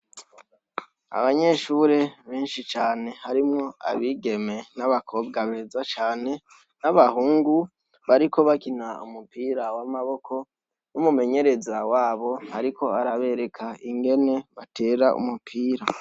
Abanyeshure benshi cane harimwo abigeme n' abakobwa beza cane n' abahungu bariko bakina umupira w' amaboko n' umumenyereza wabo ariko arabereka ingene batera umupira.